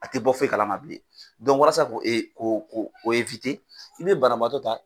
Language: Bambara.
A tɛ bɔ fɔyi kalama bilen walasa ko ko ko o i bɛ banabaatɔ ta